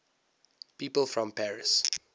people from paris